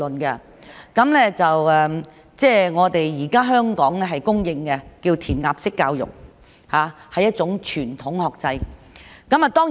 現時香港教育被公認為填鴨式教育，是一種傳統學制。